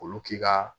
Olu k'i ka